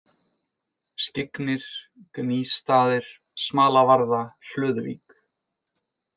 Skyggnir, Gnýsstaðir, Smalavarða, Hlöðuvík